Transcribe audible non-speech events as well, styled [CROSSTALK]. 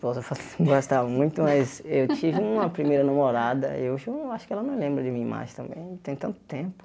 Esposa não gostava muito, [LAUGHS] mas eu tive uma primeira namorada, hoje eu acho que ela não lembra de mim mais também, tem tanto tempo.